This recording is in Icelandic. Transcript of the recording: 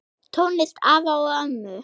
Tónlist afa og ömmu?